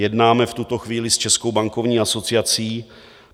Jednáme v tuto chvíli s Českou bankovní asociací.